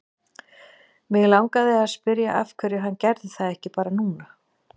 Mig langaði að spyrja af hverju hann gerði það ekki bara núna.